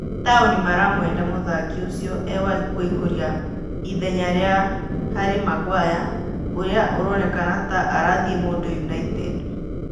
Taoni maramwenda mũthaki ũcio ewakũihũria ithenya rĩa Harĩ Maguere ũrĩa ũronekana ta-arathiĩ Mũndũ United.